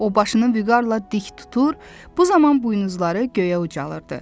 O başını vüqarla dik tutur, bu zaman buynuzları göyə ucalırdı.